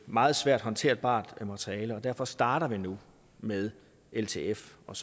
meget svært håndterbart materiale og derfor starter vi nu med ltf og